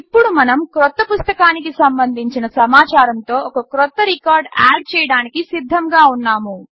ఇప్పుడు మనం క్రొత్త పుస్తకానికి సంబంధించిన సమాచారముతో ఒక క్రొత్త రికార్డ్ ఆడ్ చేయడానికి సిధ్ధంగా ఉన్నాము